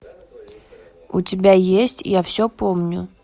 у тебя есть я все помню